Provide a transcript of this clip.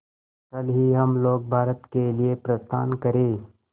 कल ही हम लोग भारत के लिए प्रस्थान करें